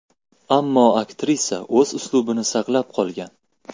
Ammo aktrisa o‘z uslubini saqlab qolgan.